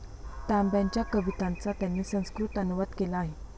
तांब्यांच्या कवितांचा त्यांनी संस्कृत अनुवाद केला आहे.